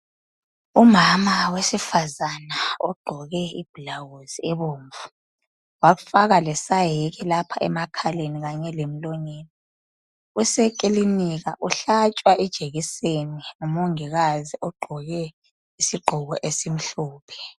Umama wesifazana ogqoke i blouse ebomvu wafaka lesayeki lapha emakaleni kanye lemlonyeni usekilinika uhlatshwa ijekiseni ngumongikazi ogqoke isigqoko esimhlophe.